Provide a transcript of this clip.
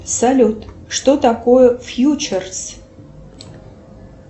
салют что такое фьючерс